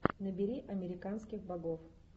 набери американских богов